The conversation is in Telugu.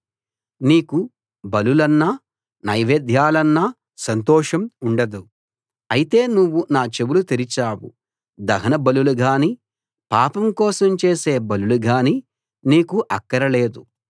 నీకు బలులన్నా నైవేద్యాలన్నా సంతోషం ఉండదు అయితే నువ్వు నా చెవులు తెరిచావు దహన బలులుగానీ పాపం కోసం చేసే బలులు గానీ నీకు అక్కర లేదు